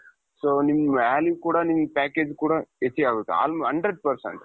so ನಿಮ್ಮ value ಕೂಡ ನಿಮ್ಮ package ಕೂಡ ಹೆಚ್ಚಿಗೆ ಆಗುತ್ತೆ hundred percent.